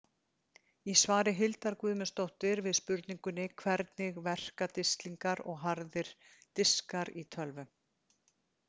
Í svari Hildar Guðmundsdóttur við spurningunni Hvernig verka disklingar og harðir diskar í tölvum?